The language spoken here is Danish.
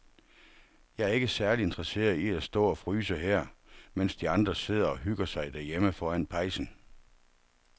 Jeg er ikke særlig interesseret i at stå og fryse her, mens de andre sidder og hygger sig derhjemme foran pejsen.